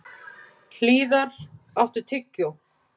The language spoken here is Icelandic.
Hlíðar, áttu tyggjó?